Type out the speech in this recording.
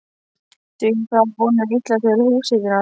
Dugir það að vonum illa til húshitunar.